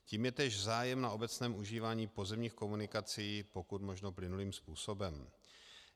Tím je též zájem na obecném užívání pozemních komunikací, pokud možno plynulým způsobem.